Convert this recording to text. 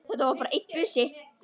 Það var bara einn busi!